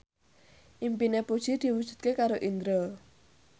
impine Puji diwujudke karo Indro